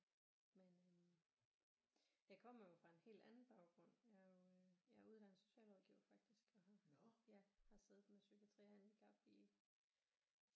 Men øh jeg kommer jo fra en helt anden baggrund jeg er jo øh jeg uddannet socialrådgiver faktisk og har ja siddet med psykiatrihandicap i